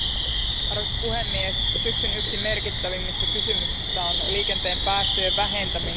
Arvoisa puhemies, yksi syksyn merkittävimmistä kysymyksistä on liikenteen päästöjen vähentäminen.